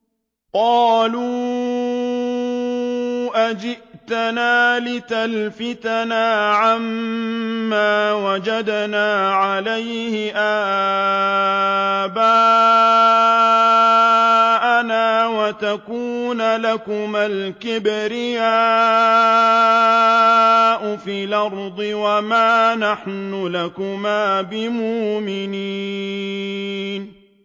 قَالُوا أَجِئْتَنَا لِتَلْفِتَنَا عَمَّا وَجَدْنَا عَلَيْهِ آبَاءَنَا وَتَكُونَ لَكُمَا الْكِبْرِيَاءُ فِي الْأَرْضِ وَمَا نَحْنُ لَكُمَا بِمُؤْمِنِينَ